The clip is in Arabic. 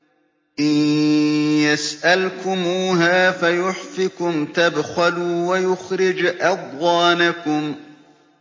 إِن يَسْأَلْكُمُوهَا فَيُحْفِكُمْ تَبْخَلُوا وَيُخْرِجْ أَضْغَانَكُمْ